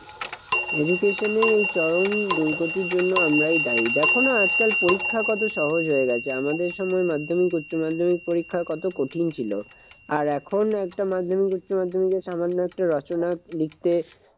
Education এর এই চরম দুর্গতির জন্য আমরাই দায়ী। দেখো না আজকাল পরীক্ষা কত সহজ হয়ে গেছে। আমাদের সময় মাধ্যমিক উচ্চমাধ্যমিক পরীক্ষা কত কঠিন ছিল। আর এখন একটা মাধ্যমিক উচ্চমাধ্যমিকের সামান্য একটা রচনা লিখতে